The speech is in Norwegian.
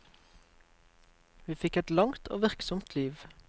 Hun fikk et langt og virksomt liv.